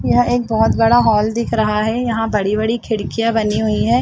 यह एक बहोत बड़ा हॉल दिख रहा है यहाँ बड़ी-बड़ी खिड़कियाँ बनी हुई है।